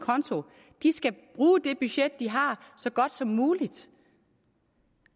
konto de skal bruge det budget de har så godt som muligt